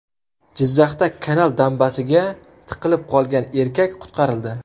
Jizzaxda kanal dambasiga tiqilib qolgan erkak qutqarildi.